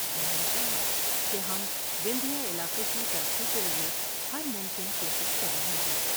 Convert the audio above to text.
انہوں نے کہا کہ ہم وندھیہ علاقے کی ترقی کے لئے ہرممکن کوشش کر رہے ہیں ۔